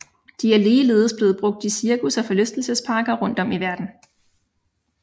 De er ligeledes blevet brugt i cirkus og forlystelsesparker rundtom i verden